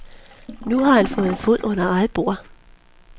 Nu har han fået fod under eget bord.